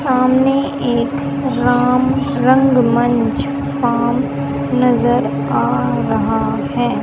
सामने एक राम रंगमंच काम नजर आ रहा है।